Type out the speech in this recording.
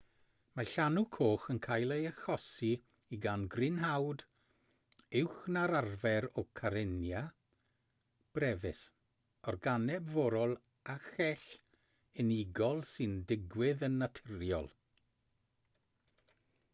mae llanw coch yn cael ei achosi gan grynhoad uwch na'r arfer o karenia brevis organeb forol â chell unigol sy'n digwydd yn naturiol